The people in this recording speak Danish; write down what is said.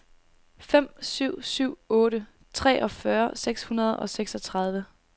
fem syv syv otte treogfyrre seks hundrede og seksogtredive